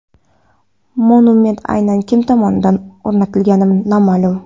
Monument aynan kim tomonidan o‘rnatilgani noma’lum.